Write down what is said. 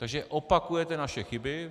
Takže opakujete naše chyby.